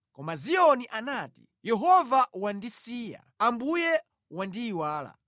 Koma Ziyoni anati, “Yehova wandisiya, Ambuye wandiyiwala.”